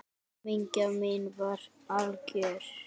Hamingja mín var algjör.